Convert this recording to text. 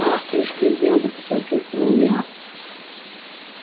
ах ты ж бедняга посочувствовал я